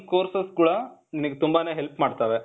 courses ಕೂಡಾ ನಿನಿಗ್ ತುಂಬಾನೇ help ಮಾಡ್ತಾವೆ.